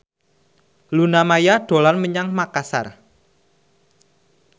Luna Maya dolan menyang Makasar